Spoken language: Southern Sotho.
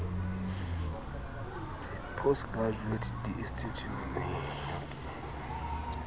a post graduate di institjhusheneng